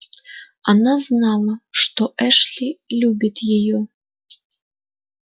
она знала что эшли любит её